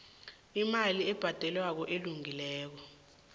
imali ebhadelwako elungileko